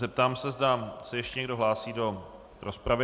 Zeptám se, zda se ještě někdo hlásí do rozpravy.